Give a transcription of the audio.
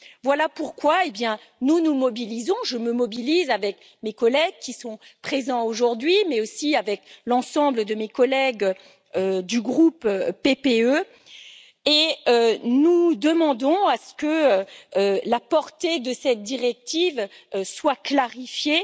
Voilà pourquoi nous nous mobilisons, je me mobilise, avec mes collègues présents aujourd'hui, mais aussi avec l'ensemble de mes collègues du groupe PPE, et nous demandons que la portée de cette directive soit clarifiée.